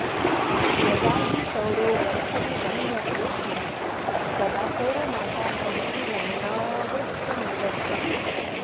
यदा हि सौरो वर्षों गण्यते स्म तदा सौरमासानामपि गणनाऽवश्यमेव स्यात्